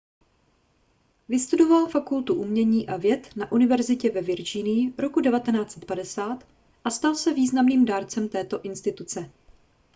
vystudoval fakultu umění a věd na univerzitě ve virginii roku 1950 a stal se významným dárcem této instituce